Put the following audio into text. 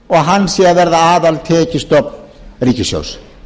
og hann sé að verða aðaltekjustofn ríkissjóðs